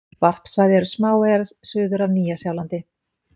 Varpsvæði eru smáeyjar suður af Nýja-Sjálandi.